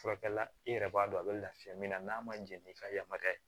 Furakɛlila i yɛrɛ b'a dɔn a bɛ lafiya min na n'a ma jɛn n'i ka yamaruya ye